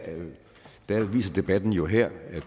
viser debatten jo her at